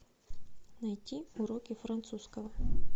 найти уроки французского